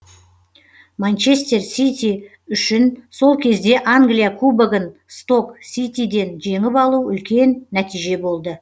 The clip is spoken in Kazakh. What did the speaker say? манчестер сити үшін сол кезде англия кубогын сток ситиден жеңіп алу үлкен нәтиже болды